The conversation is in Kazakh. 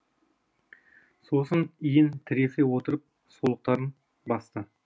сосын иін тіресе отырып солықтарын басты